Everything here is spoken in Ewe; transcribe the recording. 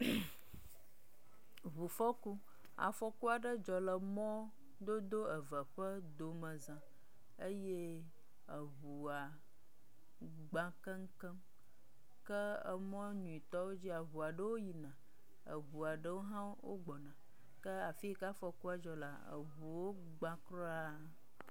MmmmƐ ŋufɔku, afɔku aɖe dzɔ le mɔ dodo eve aɖewo ƒe domeza eye eŋua gba keŋkeŋ ke emɔ nyuietɔ dzia eŋua ɖewo yina eye ɖewo gbɔna ke afi yi ke afɔkua dzɔ lea ŋuwo gba kura.